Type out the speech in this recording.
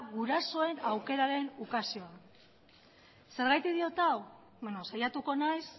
gurasoen aukeraren ukazioa zergatik diot hau saiatuko naiz